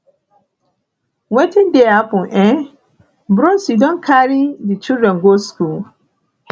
wetin dey happen um bros you don carry di children go skool